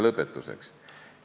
Lõpetuseks.